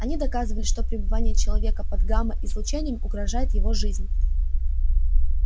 они доказывали что пребывание человека под гамма излучением угрожает его жизни